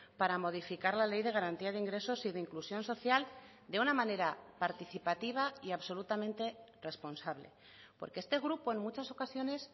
para modificar la ley de garantía de ingresos y de inclusión social de una manera participativa y absolutamente responsable porque este grupo en muchas ocasiones